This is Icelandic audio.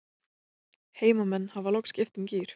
Heimamenn hafa loks skipt um gír.